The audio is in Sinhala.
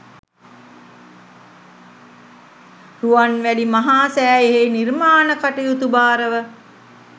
රුවන්මැලි මහා සෑයෙහි නිර්මාණ කටයුතු භාරව